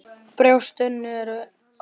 Brjóst Önnu er holt.